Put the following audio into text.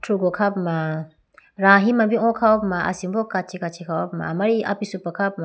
thrugo kha puma rahi ma bi o kha puma asimbo kachi kachi kha ho puma amari apisupa kha ho puma.